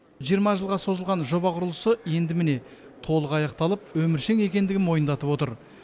жиырма жылға созылған жоба құрылысы енді міне толық аяқталып өміршең екендігін мойындатып отыр